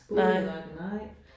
Nej